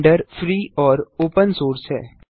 blender free और open source है